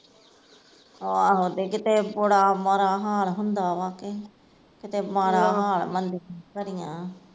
ਆਹੋ ਤੇ ਕਿਤੇ ਬੁੜਾ ਮਾੜਾ ਹਾਲ ਹੁੰਦਾ ਵਾਂ ਕਿ ਕਿਤੇ ਮਾੜਾ ਆਹ ਹਾਲ ਮਨਦੀ ਐ